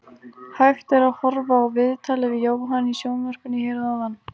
Hægt er að horfa á viðtalið við Jóhann í sjónvarpinu hér að ofan.